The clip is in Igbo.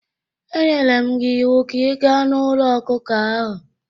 E nyere m gị iwu ka ị gaa n'ụlọ ọkụkọ ahụ!